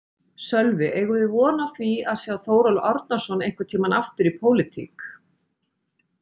Sölvi: Eigum við von á því að sjá Þórólf Árnason einhvern tímann aftur í pólitík?